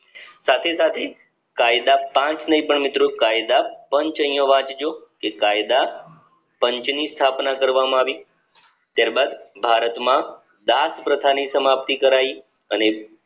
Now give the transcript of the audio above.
સાથે સાથે કાયદા કાન્તઃ નય પણ મિત્રો કાયદા પંચ અહીંયા વાંચજો જે કાયદા પંચ ની સ્થાપના કરવામાં આવી ત્યાર બાદ ભારત માં દાસપ્રથાની સમાપ્તિ કરાય અને